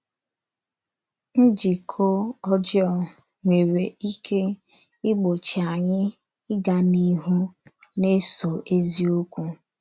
Njíkọ̀ ọ́jọọ nwerè íké ígbochì ányí ígá n’íhù na-èsò èzíọ̀kwú.